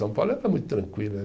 São Paulo era muito tranquilo.